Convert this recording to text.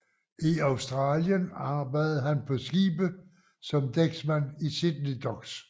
I Australien arbejdede han på skibe som dæksmand i Sydney Docks